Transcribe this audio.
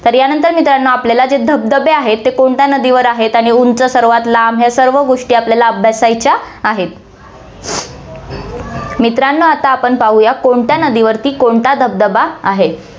तर यानंतर मित्रांनो, आपल्याला जे धबधबे आहेत, ते कोणत्या नदीवर आहेत आणि उंच सर्वात लांब, या सर्व गोष्टी आपल्याला अभ्यासायच्या आहेत. मित्रांनो, आता आपण पाहुया कोणत्या नदीवरती कोणता धबधबा आहे.